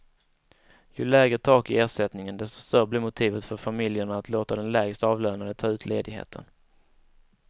Ju lägre tak i ersättningen, desto större blir motivet för familjerna att låta den lägst avlönade ta ut ledigheten.